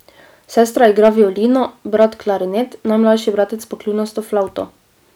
Sestra igra violino, brat klarinet, najmlajši bratec pa kljunasto flavto.